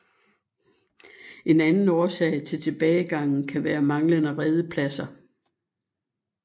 En anden årsag til tilbagegangen kan være manglende redepladser